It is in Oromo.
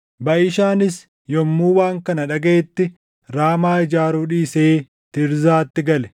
Baʼishaanis yommuu waan kana dhagaʼetti Raamaa ijaaruu dhiisee Tiirzaatti gale.